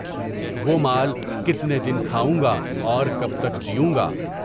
وہ مال کتنے دن کھاؤں گا اور کب تک جیوں گا؟